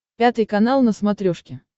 пятый канал на смотрешке